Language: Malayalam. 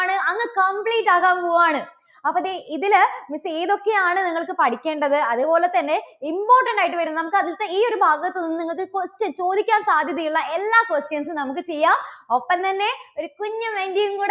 ണ്. അങ്ങ് complete ആക്കാൻ പോകുവാണ്. അപ്പോൾ ദേ ഇതില് miss ഏതൊക്കെയാണ് നിങ്ങൾക്ക് പഠിക്കേണ്ടത്, അതുപോലെതന്നെ important ആയിട്ട് വരുന്ന നമുക്ക് അതിലത്തേ ഈ ഒരു ഭാഗത്തുനിന്ന് നിങ്ങൾക്ക് question ചോദിക്കാൻ സാധ്യതയുള്ള എല്ലാ questions സും നമുക്ക് ചെയ്യാം. ഒപ്പം തന്നെ ഒരു കുഞ്ഞു mind game കൂടെ